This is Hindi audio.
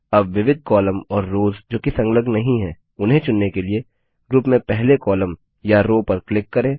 अब विविध कॉलम और रोव्स जो की संलग्न नहीं है उन्हें चुनने के लिए ग्रुप में पहले कॉलम या रो पर क्लिक करें